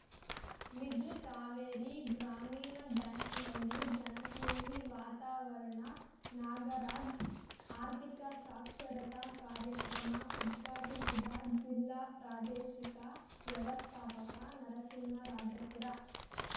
middle Kaveri ಗ್ರಾಮೀಣ ಬ್ಯಾಂಕ್‌ನಲ್ಲಿ ಜನಸ್ನೇಹಿ ವಾತಾವರಣ ನಾಗರಾಜ್‌ ಆರ್ಥಿಕ ಸಾಕ್ಷರತಾ ಕಾರ್ಯಕ್ರಮ ಉದ್ಘಾಟಿಸಿದ ಜಿಲ್ಲಾ ಪ್ರಾದೇಶಿಕ ವ್ಯವಸ್ಥಾಪಕ ನರಸಿಂಹರಾಜಪುರ